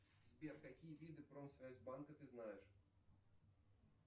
сбер какие виды промсвязьбанка ты знаешь